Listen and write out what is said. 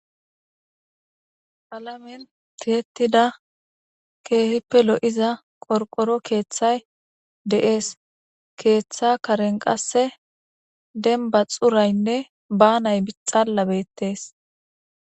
Qalamen tiyettida keehippe lo7iza qorqoro keeththay de7ees. Keeththa karen qasse dembba xuraynne banay xala bettees.